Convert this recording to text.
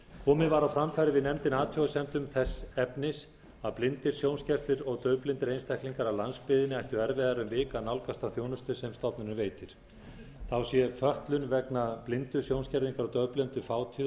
komið var á framfæri við nefndina athugasemdum þess efnis að blindir sjónskertir og daufblindir einstaklingar af landsbyggðinni ættu erfiðara um vik að nálgast þá þjónustu sem stofnunin veitir þá sé fötlun vegna blindu sjónskerðingar og daufblindu fátíð